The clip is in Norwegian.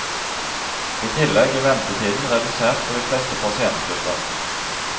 I tillegg er ventetiden redusert for de fleste pasientgrupper.